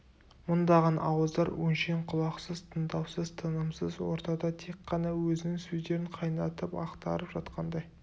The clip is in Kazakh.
мыңдаған ауыздар өңшең құлақсыз тыңдаусыз тынымсыз ортада тек қана өзінің сөздерін қайнатып ақтарып жатқандай